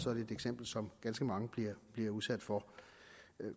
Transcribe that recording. som ganske mange bliver bliver udsat for